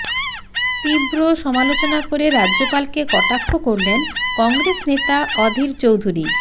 তীব্র সমালোচনা করে রাজ্যপাল কে কটাক্ষ করলেন কংগ্রেস নেতা অধীর চৌধুরী